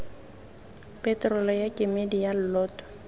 peterolo ya kemedi ya lloto